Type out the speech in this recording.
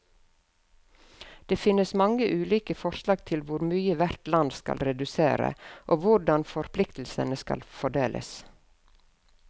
Det finnes mange ulike forslag til hvor mye hvert land skal redusere, og hvordan forpliktelsene skal fordeles.